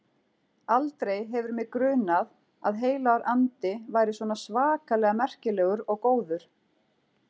Aldrei hefur mig grunað að Heilagur Andi væri svona svakalega merkilegur og góður.